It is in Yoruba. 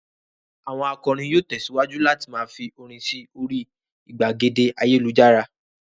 Àwọn akọrin yóò tẹ̀síwájú láti máa fi orin sí orí ìgbàgede ayélujára.